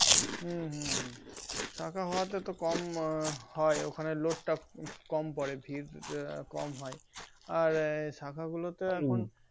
হুম হুম হুম শাখা হওয়া তে তো কম হয় ওখানে load তা কম পরে ভিড় কম হয় আর শাখা গুলোতে এখন